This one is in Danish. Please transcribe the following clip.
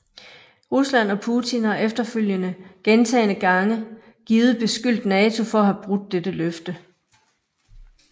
Rusland og Putin har efterfølgende gentagende gange givet beskyldt NATO for at have brudt dette løfte